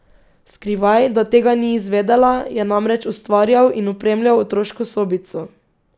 Skrivaj, da tega ni izvedela, je namreč ustvarjal in opremljal otroško sobico.